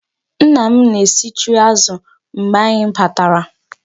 Nna m na-esichu azụ mgbè anyị batara.